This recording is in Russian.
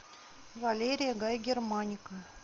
валерия гай германика